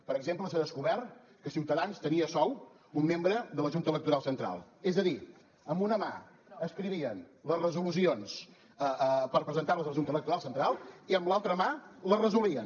per exemple s’ha descobert que ciutadans tenia a sou un membre de la junta electoral central és a dir amb una mà escrivien les resolucions per presentar les a la junta electoral central i amb l’altra mà les resolien